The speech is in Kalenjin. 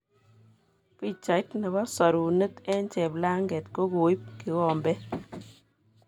Pichait nebo sorunet eng cheplanget kokoib kikobet